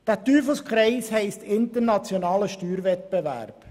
Dieser Teufelskreis heisst internationaler Steuerwettbewerb.